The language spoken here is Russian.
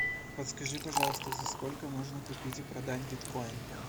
подскажи пожалуйста за сколько можно купить и продать биткоин